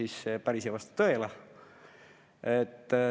See päris ei vasta tõele.